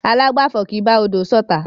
Alágbàfo kì í bá odò ṣotá.